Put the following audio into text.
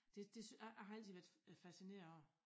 Det det jeg jeg har altid været fascineret af det